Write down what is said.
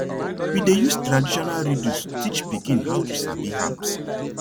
we dey use traditional riddles teach pikin how to sabi herbs